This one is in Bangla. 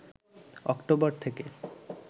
অক্টোবর থেকে